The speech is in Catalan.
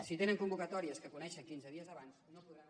si tenen convocatòries que coneixen quinze dies abans no podran